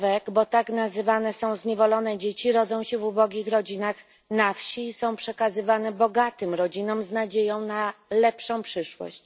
bo tak nazywane są zniewolone dzieci rodzą się w ubogich rodzinach na wsi i są przekazywane bogatym rodzinom z nadzieją na lepszą przyszłość.